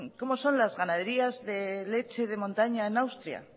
cómo son las ganaderías de leche de montaña en austria